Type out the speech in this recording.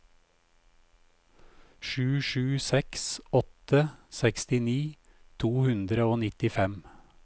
sju sju seks åtte sekstini to hundre og nittifem